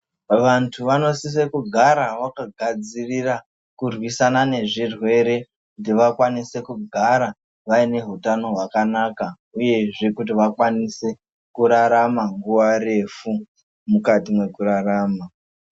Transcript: Vanthu vanosisa kugara vakagadzirira kurwisana nezvirwere kuti vakwanise kugara vaine hutano hwakanaka uyezve kuti vakwanise kurarama nguwa refu mukati mwekurarama.